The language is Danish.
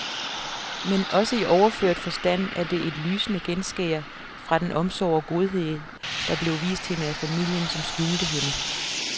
Men også i overført forstand er det et lysende genskær fra den omsorg og godhed, der blev vist hende af familien, som skjulte hende.